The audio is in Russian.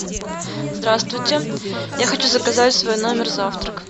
здравствуйте я хочу заказать в свой номер завтрак